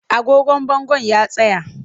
Agogon bangon ya tsaya